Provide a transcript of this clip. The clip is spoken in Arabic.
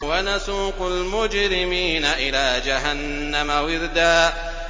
وَنَسُوقُ الْمُجْرِمِينَ إِلَىٰ جَهَنَّمَ وِرْدًا